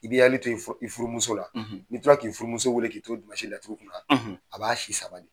I b'i hakili to i furumuso la n'i tola k'i furumuso weele k'i to laturu kunna a b'a si sama de.